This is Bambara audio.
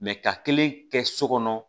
ka kelen kɛ so kɔnɔ